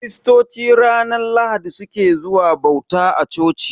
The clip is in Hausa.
Kiristoci ranar Lahadi su ke zuwa bauta a coci.